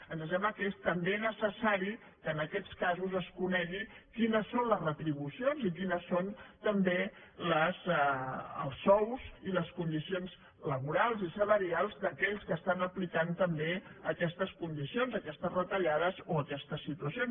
ens sembla que és també necessari que en aquests casos es conegui quines són les retribucions quins són també els sous i les condicions laborals i salarials d’aquells que apliquen també aquestes condicions aquestes retallades o aquestes situacions